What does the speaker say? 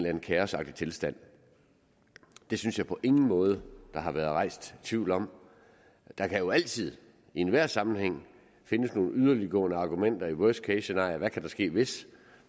anden kaosagtig tilstand det synes jeg på ingen måde der har været rejst tvivl om der kan jo altid i enhver sammenhæng findes nogle yderliggående argumenter i worst case scenarier hvad kan der ske hvis